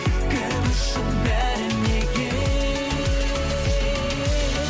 кім үшін бәрі неге